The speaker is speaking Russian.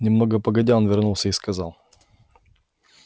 немного погодя он вернулся и сказал